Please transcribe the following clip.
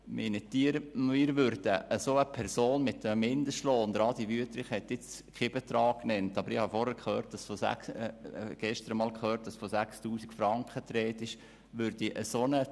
Meinen Sie, wir würden eine solche Person mit einem Mindestlohn von – Adrian Wüthrich hat vorhin keinen Betrag genannt, aber ich habe gehört, dass gestern einmal von 6000 Franken die Rede war – anstellen?